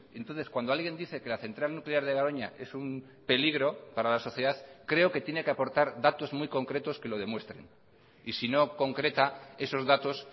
entonces cuando alguien dice que la central nuclear de garoña es un peligro para la sociedad creo que tiene que aportar datos muy concretos que lo demuestren y si no concreta esos datos